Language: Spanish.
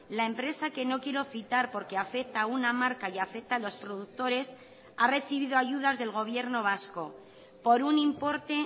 la empresa que no quiero citar porque afecta a una marca y afecta a los productores ha recibido ayudas del gobierno vasco por un importe